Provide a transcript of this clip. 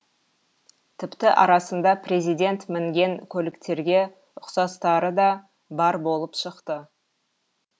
тіпті арасында президент мінген көліктерге ұқсастары да бар болып шықты